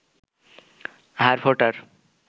হাড় ফোটার